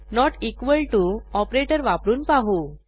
note equal to operator वापरून पाहू